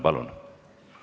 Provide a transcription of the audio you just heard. Palun!